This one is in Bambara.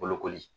Bolokoli